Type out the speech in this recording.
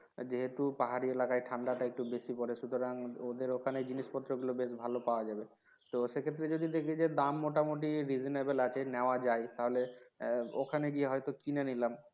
যেহেতু পাহাড়ি এলাকায় ঠান্ডাটা একটু বেশি পরে সুতরাং ওদের ওখানে এই জিনিসপত্র গুলো বেশি ভালো পাওয়া যাবে তো সেক্ষেত্রে যদি দেখি যে দাম মোটামুটি reasonable আছে নেওয়া যায় তাহলে ওখানে গিয়ে হয়তো কিনে নিলাম